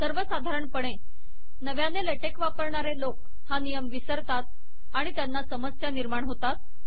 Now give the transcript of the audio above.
सर्वसाधारणपणे नव्याने लेटेक वापरणारे लोक हा नियम विसरतात आणि त्यांना समस्या निर्माण होतात